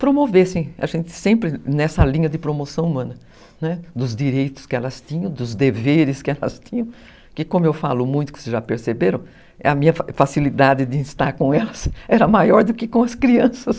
promovessem a gente sempre nessa linha de promoção humana, né, dos direitos que elas tinham, dos deveres que elas tinham, que como eu falo muito, que vocês já perceberam, a minha facilidade de estar com elas era maior do que com as crianças.